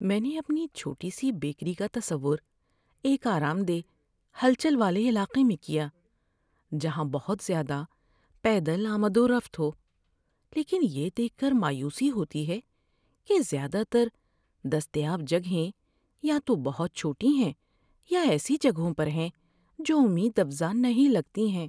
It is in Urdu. میں نے اپنی چھوٹی سی بیکری کا تصور ایک آرام دہ، ہلچل والے علاقے میں کیا جہاں بہت زیادہ پیدل آمد و رفت ہو، لیکن یہ دیکھ کر مایوسی ہوتی ہے کہ زیادہ تر دستیاب جگہیں یا تو بہت چھوٹی ہیں یا ایسی جگہوں پر ہیں جو امید افزا نہیں لگتی ہیں۔